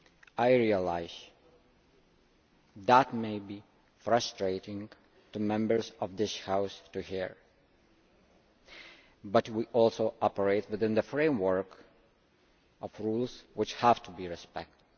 I realise that may be frustrating to Members of this House to hear, but we also operate within the framework of rules which have to be respected.